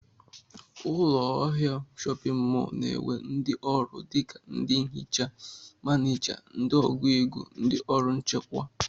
Ụlọahịa shọpịn mọl na-enwe ndị ọrụ dịka ndị nhicha, manịja, ndị ọgụ ego, ndị ọrụ nchekwa